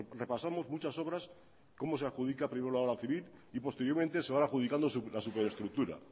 repasamos muchas obras cómo se adjudica primero la obra civil y posteriormente se van adjudicando la superestructura